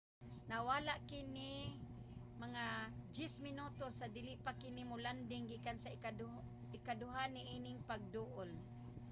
nawala kini mga 10 minutos sa dili pa kini mo-landing gikan sa ikaduha niining pagduol